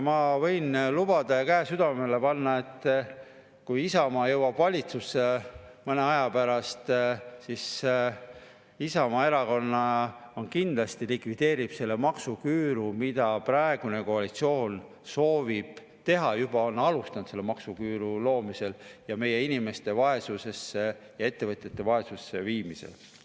Ma võin lubada ja käe südamele panna, et kui Isamaa jõuab valitsusse mõne aja pärast, siis Isamaa Erakond kindlasti likvideerib selle maksuküüru, mida praegune koalitsioon soovib teha: ta on juba alustanud selle maksuküüru loomisega ja meie inimeste ja ettevõtjate vaesusesse viimisega.